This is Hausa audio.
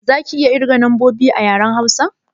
Za ka iya kirga lambobi a yaren Hausa?